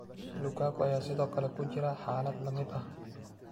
Lukaku ayaa sidoo kale ku jira xaalad la mid ah.